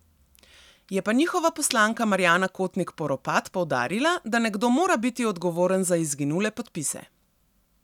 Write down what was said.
Je pa njihova poslanka Marjana Kotnik Poropat poudarila, da nekdo mora biti odgovoren za izginule podpise.